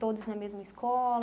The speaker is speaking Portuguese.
Todos na mesma escola.